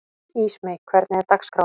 Ísmey, hvernig er dagskráin?